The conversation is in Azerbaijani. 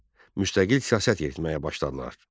Müstəqil siyasət yeritməyə başladılar.